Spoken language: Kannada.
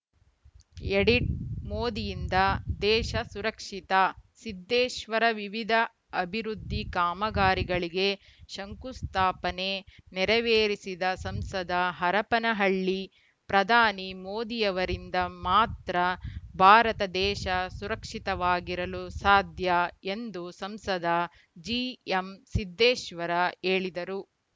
ಎಡಿಟ್‌ ಮೋದಿಯಿಂದ ದೇಶ ಸುರಕ್ಷಿತ ಸಿದ್ದೇಶ್ವರ ವಿವಿಧ ಅಭಿವೃದ್ಧಿ ಕಾಮಗಾರಿಗಳಿಗೆ ಶಂಕುಸ್ಥಾಪನೆ ನೆರವೇರಿಸಿದ ಸಂಸದ ಹರಪನಹಳ್ಳಿ ಪ್ರಧಾನಿ ಮೋದಿಯವರಿಂದ ಮಾತ್ರ ಭಾರತ ದೇಶ ಸುರಕ್ಷಿತವಾಗಿರಲು ಸಾಧ್ಯ ಎಂದು ಸಂಸದ ಜಿಎಂ ಸಿದ್ದೇಶ್ವರ ಹೇಳಿದರು